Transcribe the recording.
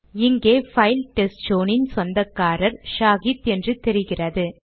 இங்கே file test zone இன் சொந்தக்காரர் ஷாஹித் என்று தெரிகிறது